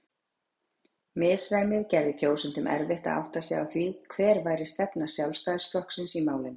Misræmið gerði kjósendum erfitt að átta sig á því hver væri stefna Sjálfstæðisflokksins í málinu.